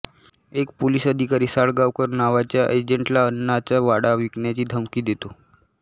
एक पोलीस अधिकारी साळगावकर नावाच्या एजंटला अण्णांचा वाडा विकण्याची धमकी देतो